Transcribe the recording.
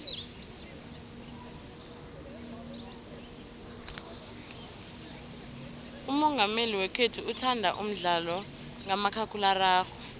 umongameli wekhethu uthanda umdlalo kamakhakhulararhwe